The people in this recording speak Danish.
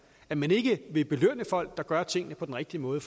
at man ikke vil belønne folk der gør tingene på den rigtige måde